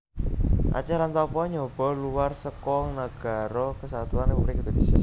Aceh lan Papua nyoba luwar seka Nagara Kesatuan Républik Indonésia